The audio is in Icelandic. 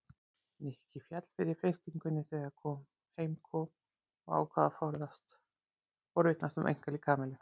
Nikki féll fyrir freistingunni þegar heim kom og ákvað að forvitnast um einkalíf Kamillu.